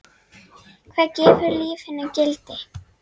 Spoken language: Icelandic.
Hvað gefur lífinu gildi?